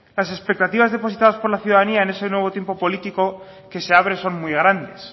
las expectativas depositadas por la ciudadanía en este nuevo tiempo político que se abre son muy grandes